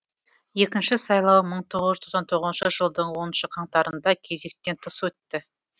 екінші сайлау мың тоғыз жүз тоқсан тоғызыншы жылдың оныншы қаңтарында кезектен тыс өтті